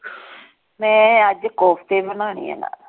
ਮੈਂ ਅੱਜ ਕੋਫਤੇ ਬਣਾਉਣੇ ਆ ਨਾ।